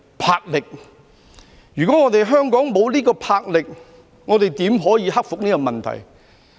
魄力。如果我們香港沒有這種魄力，怎可以克服這個問題。